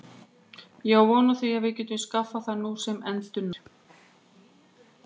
Ég á von á því að við getum skaffað það nú sem endranær.